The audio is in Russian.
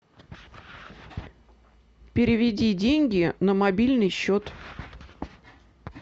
переведи деньги на мобильный счет